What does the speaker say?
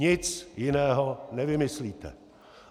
Nic jiného nevymyslíte.